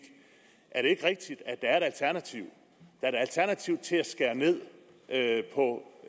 er det ikke rigtigt at der er et alternativ er et alternativ til at skære ned på